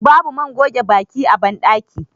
babu man goge baki a bandaki